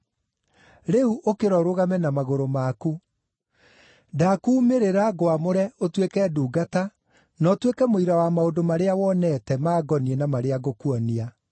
Rĩu ũkĩra ũrũgame na magũrũ maku. Ndaakuumĩrĩra ngwamũre ũtuĩke ndungata na ũtuĩke mũira wa maũndũ marĩa wonete mangoniĩ na marĩa ngũkuonia.